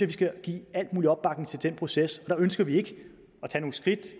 vi skal give al mulig opbakning til den proces og der ønsker vi ikke